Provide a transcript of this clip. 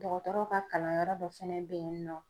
Dɔgɔtɔrɔw ka kalanyɔrɔ dɔ fɛnɛ bɛ yen nɔ.